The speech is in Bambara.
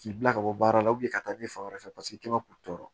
K'i bila ka bɔ baara la ka taa ni fan wɛrɛ fɛ paseke i kɛ ma k'u tɔ